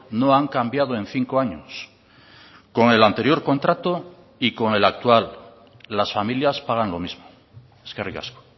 no han cambiado en cinco años con el anterior contrato y con el actual las familias pagan lo mismo eskerrik asko